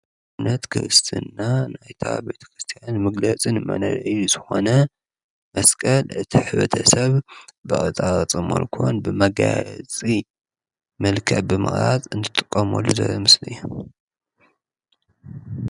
እምነት ክርስትና ናይታ ቤተ ክርስቲያን ምግለጽን መንነት ዝኾነ መስቀል እቲ ሕብረተሰብ ብቅርፃ ቅርፂ ብመጋየፂ መልከ ብመቕራጽ እንትጥቐመሉ ዘርኢ ምስሊ እዮ።